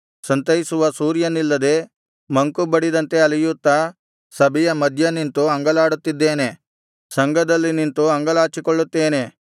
ಸಂತೈಸುವ ಸೂರ್ಯನಿಲ್ಲದೆ ಮಂಕುಬಡಿದಂತೆ ಅಲೆಯುತ್ತಾ ಸಭೆಯ ಮಧ್ಯನಿಂತು ಅಂಗಲಾಡುತ್ತಿದ್ದೇನೆ ಸಂಘದಲ್ಲಿ ನಿಂತು ಅಂಗಲಾಚಿಕೊಳ್ಳುತ್ತೇನೆ